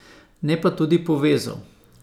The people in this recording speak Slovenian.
Ne pa tudi povezal.